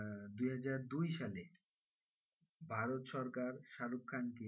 আহ দুহাজার দুই সালে ভারত সরকার শাহরুখ খানকে,